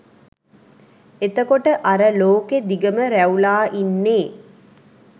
එතකොට අර ලෝකෙ දිගම ‍රැවුලා ඉන්නේ?